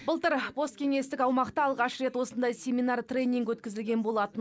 былтыр посткеңестік аумақта алғаш рет осындай семинар тренинг өткізілген болатын